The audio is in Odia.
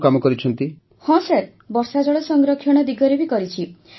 ହଁ ସାର୍ ରେନ୍ ୱାଟର୍ ହାର୍ଭେଷ୍ଟିଂ ବର୍ଷାଜଳ ସଂରକ୍ଷଣ ଦିଗରେ ବି କରିଛି